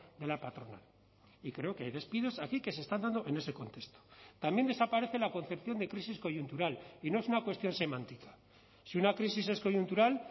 de la patronal y creo que hay despidos aquí que se están dando en ese contexto también desaparece la concepción de crisis coyuntural y no es una cuestión semántica si una crisis es coyuntural